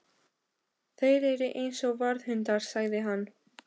Þeir eru eins og varðhundar sagði hann.